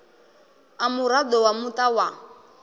u muraḓo wa muṱa wa